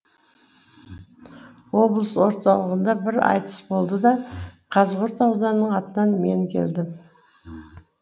облыс орталығында бір айтыс болды да қазығұрт ауданының атынан мен келдім